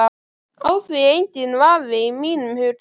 Á því er enginn vafi í mínum huga.